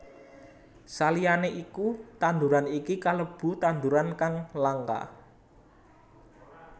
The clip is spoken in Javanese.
Saliyané iku tanduran iki kalebu tanduran kang langka